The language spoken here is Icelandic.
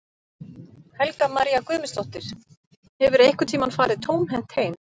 Helga María Guðmundsdóttir: Hefurðu einhvern tímann farið tómhent heim?